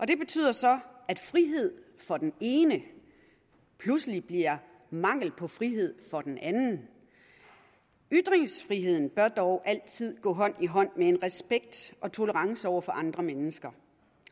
det betyder så at frihed for den ene pludselig bliver mangel på frihed for den anden ytringsfriheden bør dog altid gå hånd i hånd med en respekt og tolerance over for andre mennesker